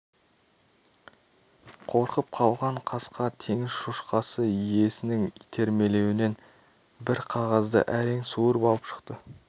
қорқып қалған қасқа теңіз шошқасы иесінің итермелеуімен бір қағазды әрең суырып алып шықты